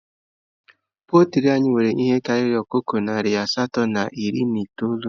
Poltri anyị nwere ihe karịrị ọkụkọ nari asatọ na iri na itoolu